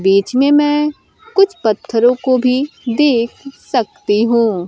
बीच में मैं कुछ पत्थरों को भी देख सकती हूं।